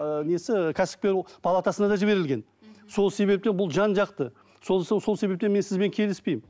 ы несі кәсіпкер палатасына да жіберілген сол себептен бұл жан жақты сол себептен мен сізбен келіспеймін